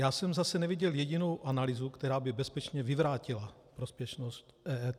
Já jsem zase neviděl jedinou analýzu, která by bezpečně vyvrátila prospěšnost EET.